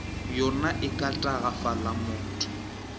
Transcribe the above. yona e ka tagafala motho